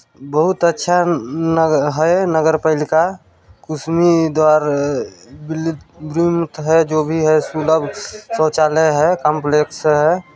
--बहुत अच्छा लगा है नगर पालिका कुसुमी द्वारा विरोध है जो भी है सुलभ शौचालय है काम्प्लेक्स है।